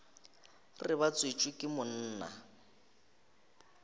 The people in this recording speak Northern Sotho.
re ba tswetšwe ke monna